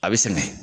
A bɛ sɛgɛn